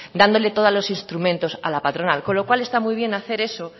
dándole todos los instrumentos a la patronal con lo cual está muy bien hacer eso